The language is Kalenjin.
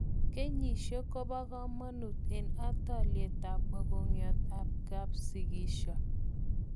kenyishek ko ba kamanut eng ataliet ab mokongiat ab kapsikisho